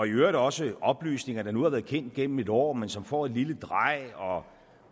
i øvrigt også oplysninger der nu har været kendt gennem et år men som får et lille drej og